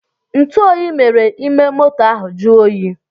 ntuoyi mere ime moto ha jụọ oyi